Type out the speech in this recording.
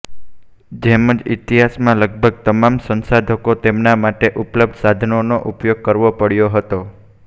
જેમ જ ઇતિહાસમાં લગભગ તમામ સંશોધકોએ તેમના માટે ઉપલબ્ધ સાધનોનો ઉપયોગ કરવો પડ્યો હતો